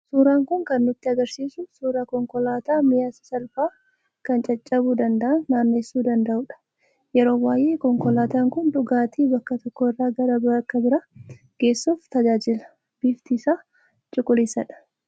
Suuraan kun kan nutti argisiisu suuraa konkolaataa mi'a, sasalphaa, kan caccabuu danda'an naanneessuu danda'udha. Yeroo baay'ee konkolaataan kun dhugaatii bakka tokko irraa gara bakka biraa geessuuf tajaajila. Bifti isaa cuquliisadha.